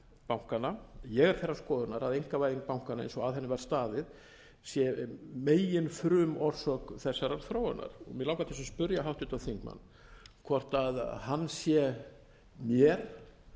bankanna ég er þeirrar skoðunar að einkavæðing bankanna eins og að henni var staðið sé meginfrumorsök þessarar þróunar mig langar til þess að spyrja háttvirtan þingmann hvort hann sé mér